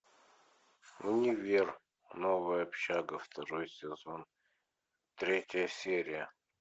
универ новая общага второй сезон третья серия